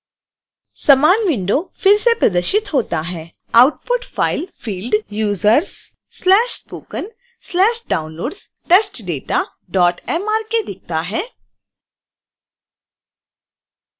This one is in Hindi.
समान विंडो फिर से प्रदर्शित होता है